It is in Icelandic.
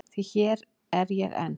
Því hér er ég enn.